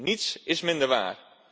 Niets is minder waar.